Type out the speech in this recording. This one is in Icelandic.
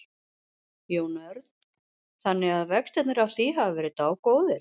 Jón Örn: Þannig að vextirnir af því hafa verið dágóðir?